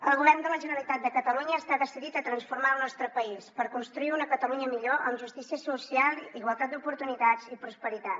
el govern de la generalitat de catalunya està decidit a transformar el nostre país per construir una catalunya millor amb justícia social igualtat d’oportunitats i prosperitat